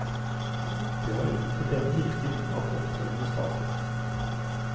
Det var utenfor denne kirken at opptøyene startet.